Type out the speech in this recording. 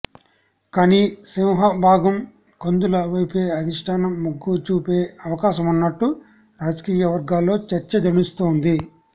కానీ సింహభాగం కందుల వైపే అధిష్టానం మొగ్గుచూపే అవకాశమున్నట్టు రాజకీయ వర్గాల్లో చర్చ నడుస్తోంది